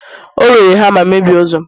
o were hama mebie ụzọ'm